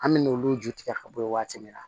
An me n'olu ju tigɛ ka bɔ yen waati min na